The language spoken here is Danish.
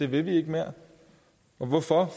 vil mere og hvorfor